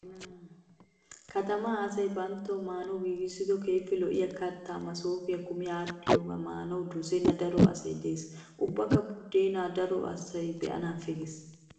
Katamaa asayi banttawu maanawu giigissido keehippe lo'iyaa kattayi masoopiyaa kumi aadhdhidaagaa maanawu dosenna daro asayi des. Ubbakka buddeena daro asayi be'anaappe ges.